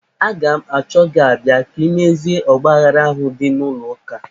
Aga m achọ gị abịa ka imezie ọgbaaghara ahụ dị n'ụlọ ụka.